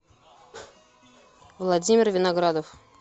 владимир виноградов